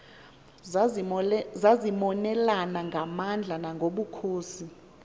zazimonelana ngamandla nangobukhosi